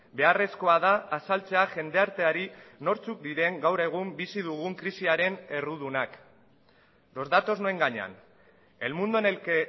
beharrezkoa da azaltzea jendarteari nortzuk diren gaur egun bizi dugun krisiaren errudunak los datos no engañan el mundo en el que